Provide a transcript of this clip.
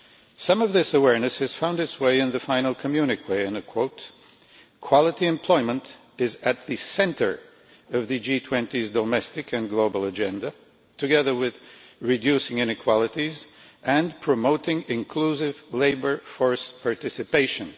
Some of this awareness has found its way in the final communiqué, which states quality employment is at the centre of the G20's domestic and global agenda, together with reducing inequalities and promoting inclusive labour force participation.'